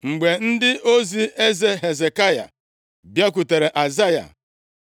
Mgbe ndị ozi eze Hezekaya bịakwutere Aịzaya,